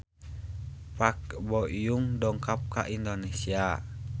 Park Bo Yung dongkap ka Indonesia